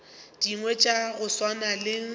dingwe tša go swana le